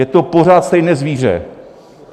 Je to pořád stejné zvíře.